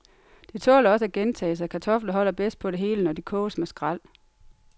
Det tåler også at gentages, at kartofler holder bedst på det hele, når de koges med skræl.